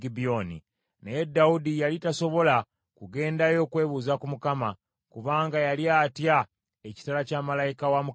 Naye Dawudi yali tasobola kugendayo kwebuuza ku Katonda, kubanga yali atya ekitala kya malayika wa Mukama Katonda.